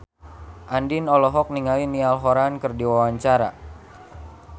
Andien olohok ningali Niall Horran keur diwawancara